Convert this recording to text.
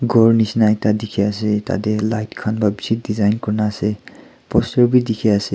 ghor nishi na ekta dikhia asey tadeh light khan wra bishi design kurna asey poster wi dikhi asey.